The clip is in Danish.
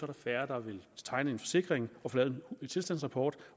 der færre der vil tegne en forsikring og få lavet en tilstandsrapport